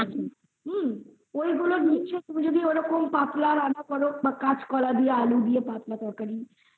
হুম ঐগুলো নিশ্চই পাতলা রান্না কারো বা কোলা দিয়ে আলু দিয়ে পাতলা